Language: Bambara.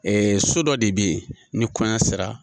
so dɔ de bɛ yen ni kɔɲɔ sera.